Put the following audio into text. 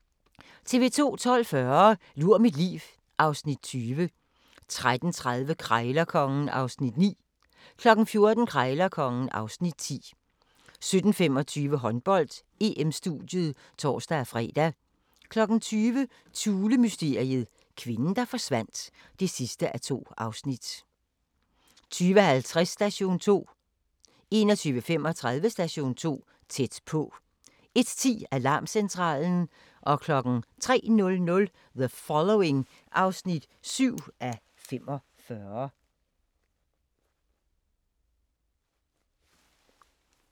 12:40: Lur mit liv (Afs. 20) 13:30: Krejlerkongen (Afs. 9) 14:00: Krejlerkongen (Afs. 10) 17:25: Håndbold: EM-studiet (tor-fre) 20:00: Thulemysteriet - kvinden, der forsvandt (2:2) 20:50: Station 2 21:35: Station 2: Tæt på 01:10: Alarmcentralen 03:00: The Following (7:45)